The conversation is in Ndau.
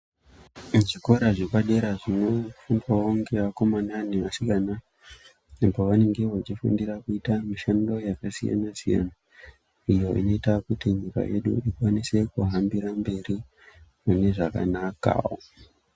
Muzvikora zvepadera zvinofundwawo nevakomana nevasikana apo vanenge veifundira kuita mishando yakasiyana siyana zvinoita kuti nyika yeduikwanise kuhambira mberi mune zvakanakawo.